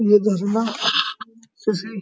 ये झरना किसी --